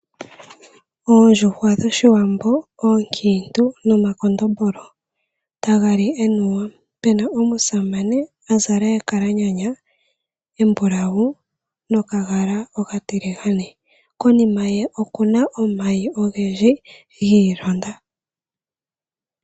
Oondjuhwa dhoshiwambo oonkintu nomakondombolo taga li enuwa, pena omusamane a zala ekalanyana embulawu nokagala okatiligane. Konima ye okuna omayi ogendji gi ilonda.